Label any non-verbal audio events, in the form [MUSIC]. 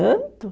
[UNINTELLIGIBLE] Canto.